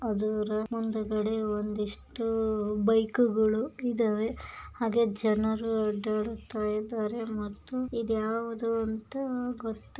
ಮುಂದಗಡೆ ಒಂದಿಷ್ಟು ಬೈಕುಗಳು ಇದವೆ ಹಾಗೆ ಜನರು ಅಡ್ಡಾಡ್ತಾ ಇದ್ದಾರೆ ಮತ್ತು ಇದ್ಯಾವುದು ಅಂತ ಗೊತ್ತಾ--